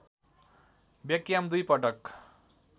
Beckham दुई पटक